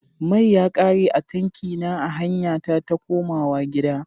Mai ya ƙare a tanki na a hanya ta takomawa gida.